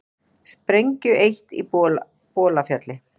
Sprengju eytt á Bolafjalli